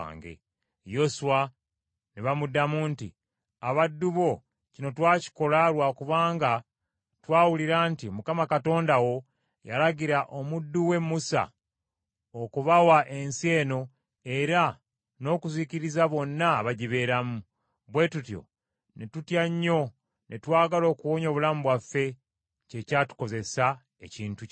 Yoswa ne bamuddamu nti, “Abaddu bo kino twakikola lwa kubanga twawulira nti, Mukama Katonda wo yalagira omuddu we Musa okubawa ensi eno era n’okuzikiriza bonna abagibeeramu, bwe tutyo ne tutya nnyo ne twagala okuwonya obulamu bwaffe kye kyatukozeseza ekintu kino.